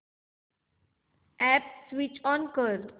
app switch on कर